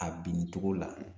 A binni togo la